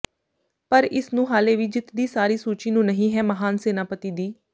ਪਰ ਇਸ ਨੂੰ ਹਾਲੇ ਵੀ ਜਿੱਤ ਦੀ ਸਾਰੀ ਸੂਚੀ ਨੂੰ ਨਹੀ ਹੈ ਮਹਾਨ ਸੈਨਾਪਤੀ ਦੀ